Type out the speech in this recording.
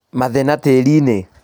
Mathĩna tĩriinĩ